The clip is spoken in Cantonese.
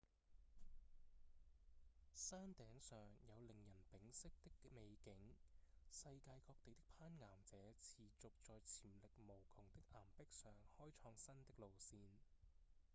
山頂上有令人屏息的美景世界各地的攀岩者持續在潛力無窮的岩壁上開創新的路線